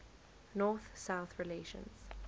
north south relations